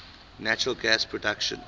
natural gas production